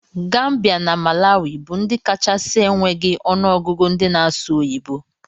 Gambia na malawi bu ndi kachasi enweghi onụ ọgụgụ ndi na asụ oyibo.